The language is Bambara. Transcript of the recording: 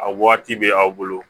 A waati bɛ aw bolo